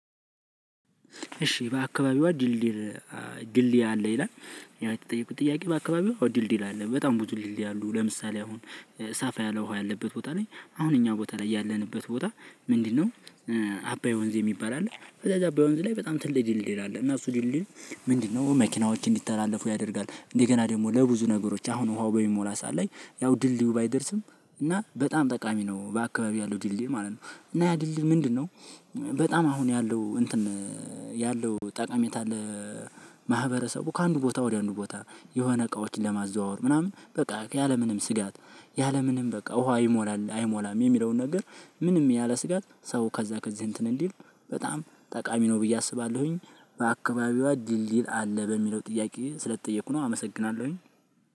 እሺ በአካባቢዋ ድልድይ አለ? ይላል። የተጠየቁት ጥያቄ በአካባቢዋ ድልድይ አለ። በጣም ብዙ ድልድይ አለ። ለምሳሌ አሁን ሰፋ ያለ ውሃ ያለበት ቦታ ላይ አሁን እኛ ቦታ ላይ ያለንበት ቦታ ምንድነው አባይ ወንዝ የሚባል አለ። ከዛ አባይ ወንዝ ላይ በጣም ትልቅ ድልድይ አለ። እና እሱ ድልድይ ምንድነው መኪናዎች እንዲተላለፉ ያደርጋል። እንደገና ደግሞ ለብዙ ነገሮች አሁን ውሃው በሚሞላ ሰዓት ላይ ያው ድልድዩ ባይደርስም እና በጣም ጠቃሚ ነው በአካባቢ ያለው ድልድል ማለት ነው። እና ያ ድልድይ ምንድነው በጣም አሁን ያለው እንትን ያለው ጠቀሜታ ማህበረሰቡ ከአንዱ ቦታ ወደ አንዱ ቦታ የሆነ እቃዎችን ለማዘዋወር ምናምን በቃ ያለምንም ስጋት ያለምንም በቃ ውሃ ይሞላል አይሞላም የሚለውን ነገር ምንም ያለ ስጋት ሰው ከዛ ከዚህ እንትን ልል በጣም ጠቃሚ ነው ብዬ አስባለሁኝ። በአካባቢዋ ድልድይ አለ? በሚለው ጥያቄ ስለተጠየኩ ነው። አመሰግናለሁኝ።